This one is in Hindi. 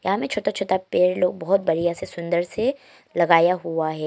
यहां में छोटा छोटा पेड़ लोग बहुत बढ़िया से सुंदर से लगाया हुआ है।